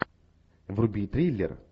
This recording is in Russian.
вруби триллер